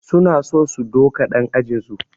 Suna so su duka ɗan ajinsu